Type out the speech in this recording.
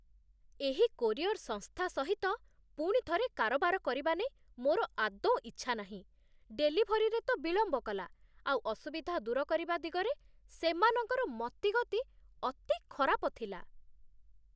ଏହି କୋରିୟର ସଂସ୍ଥା ସହିତ ପୁଣି ଥରେ କାରବାର କରିବା ନେଇ ମୋର ଆଦୌ ଇଚ୍ଛା ନାହିଁ। ଡେଲିଭରୀରେ ତ ବିଳମ୍ବ କଲା, ଆଉ ଅସୁବିଧା ଦୂର କରିବା ଦିଗରେ ସେମାନଙ୍କର ମତିଗତି ଅତି ଖରାପ ଥିଲା।